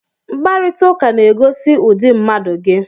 Mkparịta ụka na-egosi ụdị mmadụ gị